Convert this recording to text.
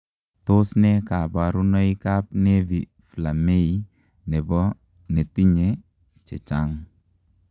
Tos nee kabarunoikap Nevi Flammei nepo netinyee chechang?